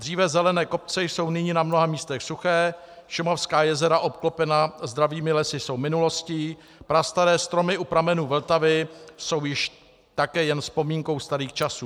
Dříve zelené kopce jsou nyní na mnoha místech suché, šumavská jezera obklopená zdravými lesy jsou minulostí, prastaré stromy u pramenů Vltavy jsou již také jen vzpomínkou starých časů.